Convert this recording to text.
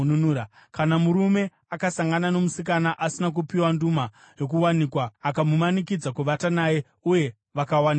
Kana murume akasangana nomusikana asina kupiwa nduma yokuwanikwa akamumanikidza kuvata naye uye vakawanikidzwa,